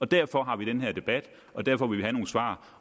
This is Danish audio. derfor har vi den her debat og derfor vil vi have nogle svar